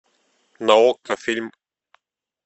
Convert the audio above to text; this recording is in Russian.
на окко фильм